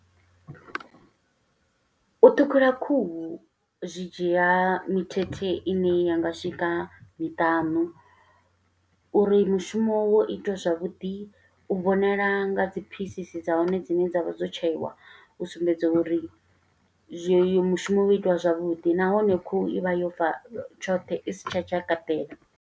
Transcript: U ṱhukhula khuhu zwi dzhia mithethe ine ya nga swika miṱanu, uri mushumo wo itiwa zwavhuḓi u vhonala nga dzi phisisi dza hone dzine dza vha dzo tsheiwa, u sumbedza uri zwi oyo mushumo wo itiwa zwavhuḓi, nahone khuhu i vha yo fa tshoṱhe, i si tsha tshakaṱela.